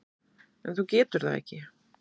En þú getur það ekki.